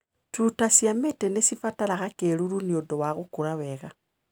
Tũta cia mĩtĩ nĩcibataraga kĩruru nĩundũ wa gũkũra wega.